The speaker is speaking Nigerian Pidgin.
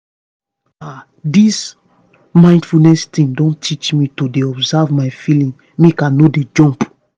ah this mindfulness thing don teach me to dey observe my feelings make i no dey jump.